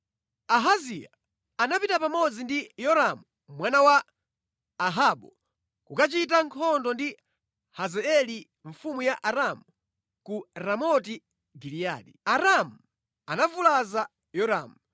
Ahaziya anapita pamodzi ndi Yoramu mwana wa Ahabu kukachita nkhondo ndi Hazaeli mfumu ya Aramu ku Ramoti Giliyadi. Aaramu anavulaza Yoramu.